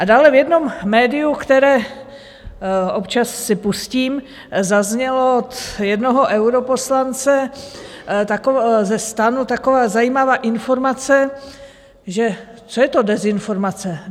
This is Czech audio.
A dále v jednom médiu, které občas si pustím, zazněla od jednoho europoslance ze STANu taková zajímavá informace, že co je to dezinformace.